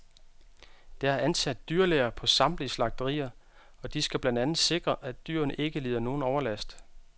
Der er ansat dyrlæger på samtlige slagterier, og de skal blandt andet sikre, at dyrene ikke lider nogen overlast.